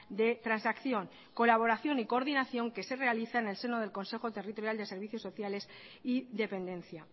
de transacción colaboración y coordinación que se realiza en el seno del consejo territorial de servicios sociales y dependencia